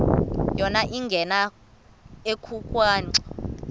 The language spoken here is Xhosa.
yona ingena ekhwenxua